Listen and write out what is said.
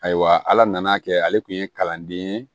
Ayiwa ala nana kɛ ale tun ye kalanden ye